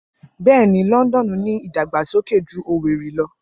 Bẹẹni, Lọndọnu ni idagbasoke ju Owerri lọ.